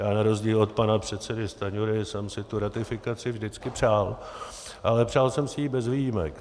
Já na rozdíl od pana předsedy Stanjury jsem si tu ratifikaci vždycky přál, ale přál jsem si ji bez výjimek.